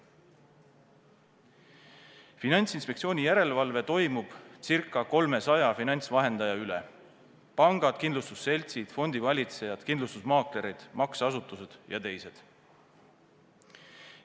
Finantsinspektsiooni järelevalve toimub circa 300 finantsvahendaja üle: pangad, kindlustusseltsid, fondivalitsejad, kindlustusmaaklerid, makseasutused jt.